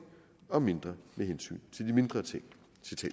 og mindre med hensyn til de mindre ting